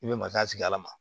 I bɛ mariya sigi ala ma